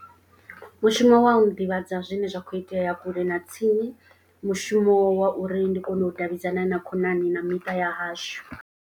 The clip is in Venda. Mushumo wa u ḓivhadza zwine zwa khou itea kule na tsini. Mushumo wa uri ndi kone u davhidzana na khonani na miṱa ya hashu.